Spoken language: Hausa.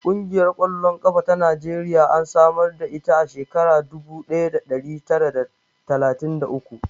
Ƙungiyar ƙwallon ƙafa ta Najeriya an samar da ita a shekarar dubu ɗaya da ɗari tara d talatin da uku.